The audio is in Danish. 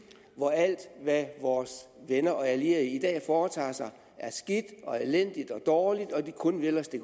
hvor alt hvad vores venner og allierede i dag foretager sig er skidt og elendigt og dårligt og at de kun vil os det